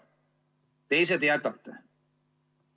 Teise te jätate.